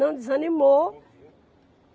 Não desanimou.